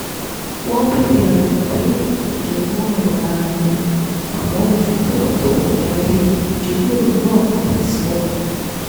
wọ́n béèrè àwọn ìbéèrè tó jẹ mọ́ ọ̀rọ̀ ara ẹni àmọ́ mo fi tọ̀wọ̀tọ̀wọ̀ darí ìjíròrò náà padà sí wọn